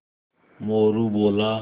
मोरू बोला